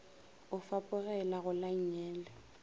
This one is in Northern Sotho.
o fapogela go la nngele